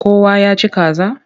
Kowa ya ci kaza?